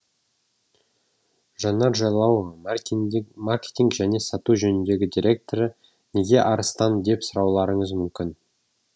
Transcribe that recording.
жанар жайлауова маркетинг және сату жөніндегі директоры неге арыстан деп сұрауларыңыз мүмкін